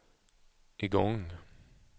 igång